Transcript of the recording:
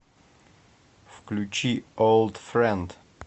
включи олд френд